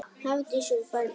Hafdís og Baldur.